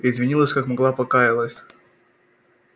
извинилась как могла покаялась